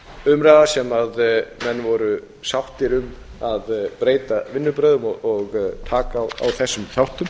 umræða sem menn voru sáttir ein að breyta vinnubrögðum og taka á þessum þáttum